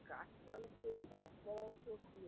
গাছপালাতো গাছপালাতো খুব